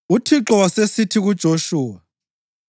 UThixo wasesithi kuJoshuwa: